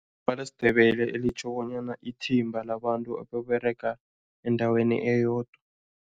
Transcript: LesiNdebele elitjho bonyana ithimba labantu ababerega endaweni eyodwa.